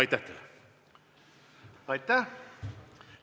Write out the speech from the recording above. Aitäh!